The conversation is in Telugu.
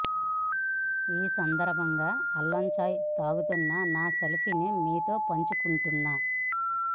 ఈ సందర్భంగా అల్లం చాయ్ తాగుతున్న నా సెల్ఫీని మీతో పంచుకుంటున్న